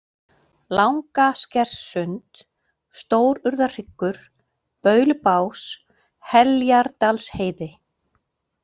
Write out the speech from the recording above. Langaskerssund, Stórurðarhryggur, Baulubás, Heljardalsheiði